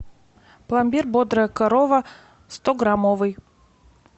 пломбир бодрая корова сто граммовый